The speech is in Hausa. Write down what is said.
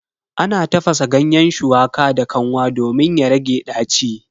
Ana tafasa ganyen shuwaka da kanwa domin ya rage ɗaci.